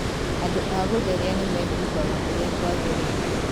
Andũ a gũtheria nĩ meehumbaga ũrĩa kwagĩrĩire